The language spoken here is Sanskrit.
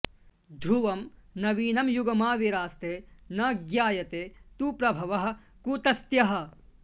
ध्रुवं नवीनं युगमाविरास्ते न ज्ञायते तु प्रभवः कुतस्त्यः